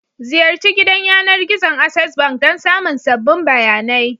Ziyarci gidan yanar gizon Access Bank don samun sabbin bayanai.